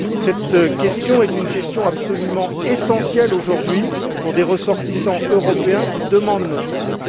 Cette question est absolument essentielle, aujourd'hui, pour les ressortissants européens qui demandent notre aide.